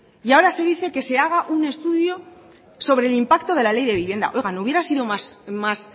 y ahora se dice que se haga un estudio sobre el impacto de la ley de vivienda oiga no hubiera sido más